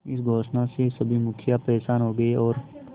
इस घोषणा से सभी मुखिया परेशान हो गए और